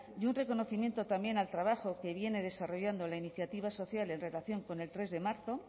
y un reconocimiento también al trabajo que viene desarrollando la iniciativa social en relación con el tres de marzo